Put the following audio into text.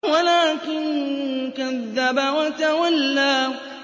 وَلَٰكِن كَذَّبَ وَتَوَلَّىٰ